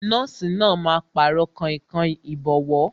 Nọ́ọ̀sì náà máa Pàrọ̀ kainkain ìbọ́wọ́